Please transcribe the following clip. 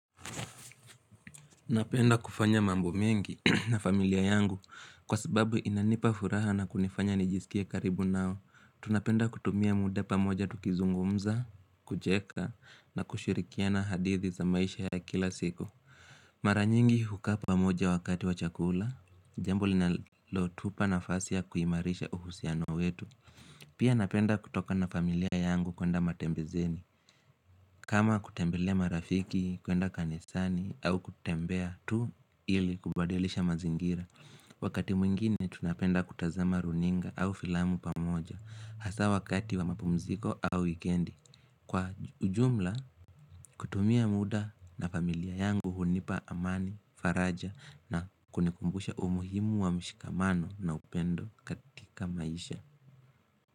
Napenda kufanya mambo mengi na familia yangu kwa sababu inanipa furaha na kunifanya nijisikie karibu nao Tunapenda kutumia muda pamoja tukizungumza, kujeka na kushirikiana hadithi za maisha ya kila siku Mara nyingi hukaa pamoja wakati wa chakula, jambo linalotupa nafasi ya kuimarisha uhusiano wetu Pia napenda kutoka na familia yangu kwenda matembezeni kama kutembelea marafiki, kwenda kanisani au kutembea tu ili kubadilisha mazingira Wakati mwingine tunapenda kutazama runinga au filamu pamoja Hasa wakati wa mapumziko au wikendi Kwa ujumla kutumia muda na familia yangu hunipa amani, faraja na kunikumbusha umuhimu wa mshikamano na upendo katika maisha.